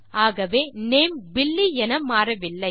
ஆகவே name Billy என மாறவில்லை